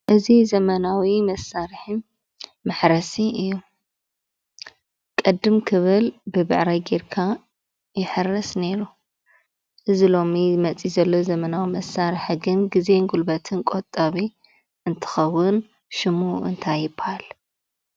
እዚ ዘመናዊ መሳርሒ መሕረሲ እዩ፡፡ ቅድም ክብል ብብዕራይ ገይርካ ይሕረስ ነይሩ፡፡ እዚ ሎሚ መፅኡ ዘሎ ዘመናዊ መሳርሒ ግን ግዜን ጉልበትን ቆጣቢ እንትከውን ሽሙ እንታይ ይበሃል?